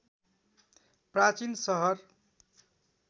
प्राचीन सहर